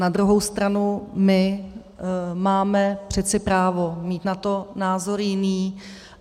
Na druhou stranu my máme přeci právo mít na to názor jiný.